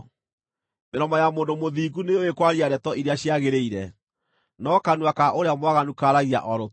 Mĩromo ya mũndũ mũthingu nĩyũũĩ kwaria ndeto iria ciagĩrĩire, no kanua ka ũrĩa mwaganu kaaragia o rũtũrĩko.